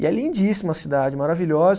E é lindíssima a cidade, maravilhosa.